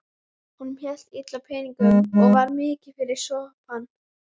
Honum hélst illa á peningum og var mikið fyrir sopann.